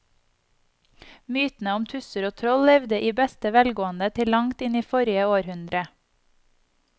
Mytene om tusser og troll levde i beste velgående til langt inn i forrige århundre.